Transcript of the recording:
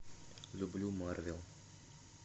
люблю марвел